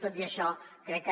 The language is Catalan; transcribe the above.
tot i això crec que